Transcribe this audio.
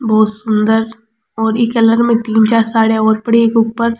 बहुत सुन्दर और ई कलर में तीन चार साड़िया और पड़ी है ईके ऊपर।